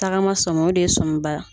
Tagama sɔmi o de sɔmiba